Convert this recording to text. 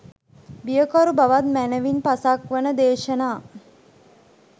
බියකරු බවත් මැනවින් පසක් වන දේශනා